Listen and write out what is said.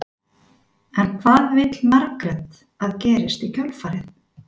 En hvað vill Margrét að gerist í kjölfarið?